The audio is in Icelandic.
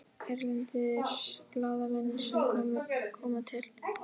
Erlendir blaðamenn sem koma til